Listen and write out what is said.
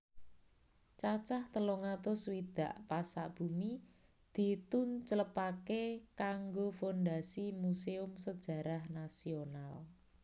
Cacah telung atus swidak pasak bumi ditunclepaké kanggo fondasi musèum sejarah nasional